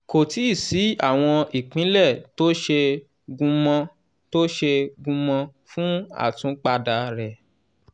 "kò tíì sí àwọn ìpìlẹ̀ tó ṣe gúnmọ́ tó ṣe gúnmọ́ fún àtúnpadà rẹ̀.